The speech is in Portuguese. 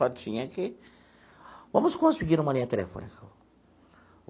Só tinha que... Vamos conseguir uma linha telefônica.